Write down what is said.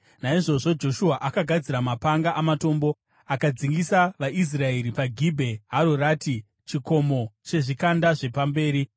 Naizvozvo Joshua akagadzira mapanga amatombo akadzingisa vaIsraeri paGibhea Hararoti (chikomo chezvikanda zvepamberi).